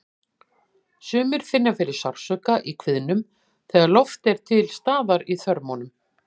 Sumir finna fyrir sársauka í kviðnum þegar loft er til staðar í þörmunum.